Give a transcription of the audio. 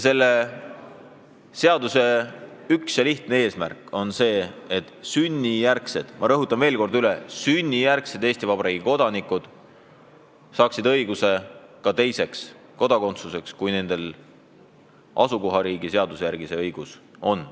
Eelnõu üks ja selge eesmärk on see, et sünnijärgsed – ma rõhutan veel kord: sünnijärgsed – Eesti Vabariigi kodanikud saaksid ka teise kodakondsuse õiguse, kui nendel asukohariigi seaduse järgi see õigus on.